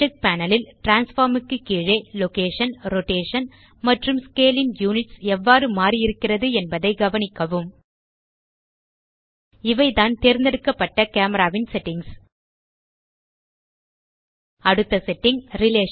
object panel ல் transform க்கு கீழே லொகேஷன் ரோடேஷன் மற்றும் ஸ்கேல் ன் யுனிட்ஸ் எவ்வாறு மாறியிருக்கிறது என்பதை கவனிக்கவும் இவைதான் தேர்ந்தெடுக்கப்பட்ட கேமரா ன் செட்டிங்ஸ் அடுத்த செட்டிங்